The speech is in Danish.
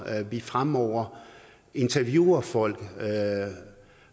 at vi fremover interviewer folk